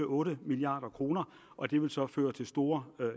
otte milliard kr og det vil så føre til store